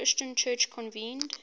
christian church convened